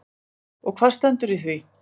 Og hvað stendur í því?